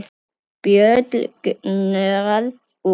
Bólgnar út.